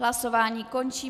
Hlasování končím.